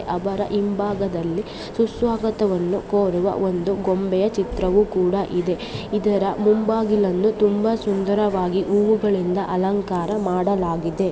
ಅವರ ಹಿಂಭಾಗದಲ್ಲಿ ಸುಸ್ವಾಗತವನ್ನು ಕೋರುವ ಒಂದು ಗೊಂಬೆಯ ಚಿತ್ರವು ಕೂಡ ಇದೆ. ಇದರ ಮುಂಬಾಗಿಲನ್ನು ತುಂಬಾ ಸುಂದರವಾಗಿ ಹೂವುಗಳಿಂದ ಅಲಂಕಾರ ಮಾಡಲಾಗಿದೆ.